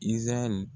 Izarali